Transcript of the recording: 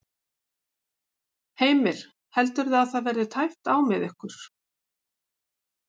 Heimir: Heldurðu að það verði tæpt á með ykkur?